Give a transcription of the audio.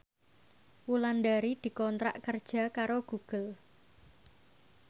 Wulandari dikontrak kerja karo Google